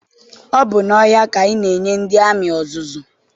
Ọ bụ n'ọhịa ka ana enye ndị amị ọzụzụ